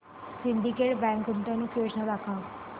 Syndicate Bank गुंतवणूक योजना दाखव